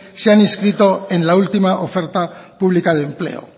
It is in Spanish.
se han inscrito en la última oferta pública de empleo